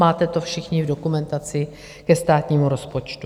Máte to všichni v dokumentaci ke státnímu rozpočtu.